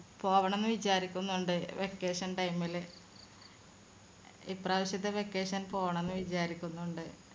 പോവണം വിചാരിക്കുന്നുണ്ട് vacation time ൽ ഇപ്രാവശ്യത്തെ vacation പോണം എന്ന് വിചാരിക്കുന്നുണ്ട്